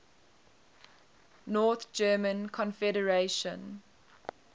north german confederation